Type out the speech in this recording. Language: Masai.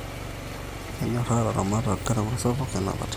Kenyoraa ilaramatak gharama sapuk ee napata